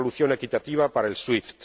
una solución equitativa para SWIFT